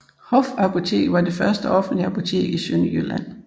Hofapoteket var det første offentlige apotek i Sønderjylland